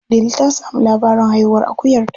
Delu ta sami labarin haihuwar akuyarta.